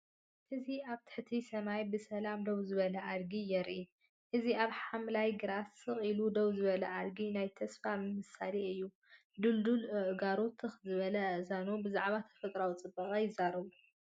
እዚ ኣብ ትሕቲ ሰማይ ብሰላም ደው ዝበለ ኣድጊ የርኢ። እዚ ኣብ ሓምላይ ግራት ስቕ ኢሉ ደው ዝበለ ኣድጊ ናይ ተስፋ ምሳሌ እዩ፤ ድልዱል ኣእጋሩን ትኽ ዝበለ ኣእዛኑን ብዛዕባ ተፈጥሮኣዊ ጽባቐ ይዛረቡ።